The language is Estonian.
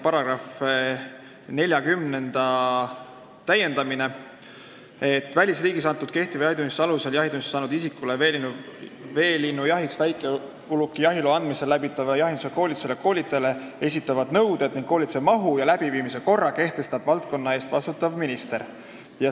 Paragrahvi 40 täiendatakse: "Välisriigis antud kehtiva jahitunnistuse alusel jahitunnistuse saanud isikule veelinnujahiks väikeuluki jahiloa andmisel läbitavale jahindusalasele koolitusele ja koolitajale esitatavad nõuded ning koolituse mahu ja läbiviimise korra kehtestab valdkonna eest vastutav minister määrusega.